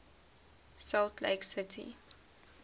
salt lake city